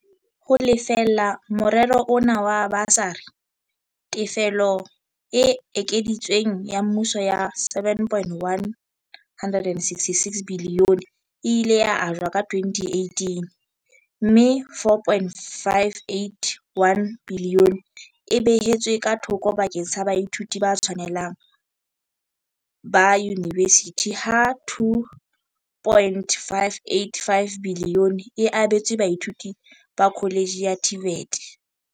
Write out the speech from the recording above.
Ho lefella morero ona wa basari, tefelo e ekeditsweng ya mmuso ya R7.166 biliyone e ile ya ajwa ka 2018 - mme R4.581 biliyone e behetswe thoko bakeng sa baithuti ba tshwanelang ba yunivesithi ha R2.585 biliyone e abetswe baithuti ba kholetjhe ya TVET.